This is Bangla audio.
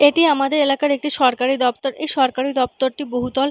এটি আমাদের এলাকার একটি সরকারি দপ্তর এই সরকারি দপ্তরটি বহুতল।